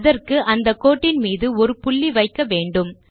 அதற்கு அந்த கோட்டின் மீது ஒரு புள்ளி வைக்க வேண்டும்